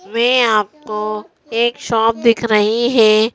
वे आपको एक शॉप दिख रही है।